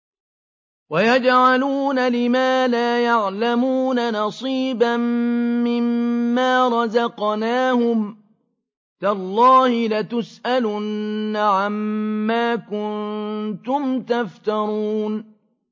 وَيَجْعَلُونَ لِمَا لَا يَعْلَمُونَ نَصِيبًا مِّمَّا رَزَقْنَاهُمْ ۗ تَاللَّهِ لَتُسْأَلُنَّ عَمَّا كُنتُمْ تَفْتَرُونَ